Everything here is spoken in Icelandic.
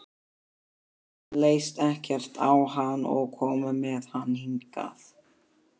Þeim leist ekkert á hann og komu með hann hingað.